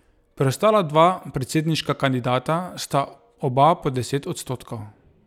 Preostala dva predsedniška kandidata sta oba pod deset odstotkov.